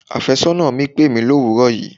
Afésónà mi pèmí l'òwúrò yìí.